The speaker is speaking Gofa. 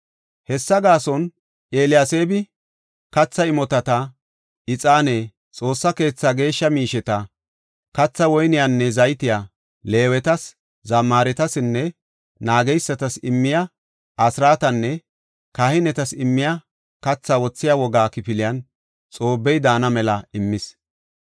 Hessafe gaason Eliyaseebi, katha imotata, ixaane, Xoossa keetha geeshsha miisheta, kathaa woyniyanne zaytiya, Leewetas, zammaretasinne naageysatas immiya asraatanne kahinetas immiya kathaa wothiya wogga kifiliyan Xoobbey daana mela immis.